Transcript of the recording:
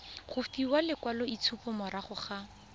go fiwa lekwaloitshupo morago ga